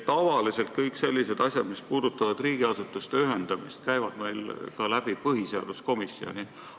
Tavaliselt käivad kõik sellised asjad, mis puudutavad riigiasutuste ühendamist, ka põhiseaduskomisjonist läbi.